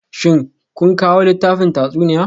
Shin kuna kawo littafin tatsuniya?